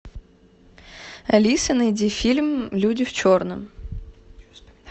алиса найди фильм люди в черном